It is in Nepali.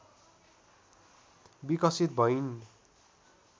विकसित भइन्।